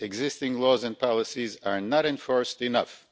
Existing laws and policies are not enforced enough.'